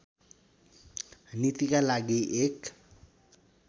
नीतिका लागि एक